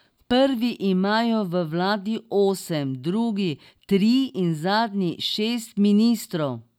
Prvi imajo v vladi osem, drugi tri in zadnji šest ministrov.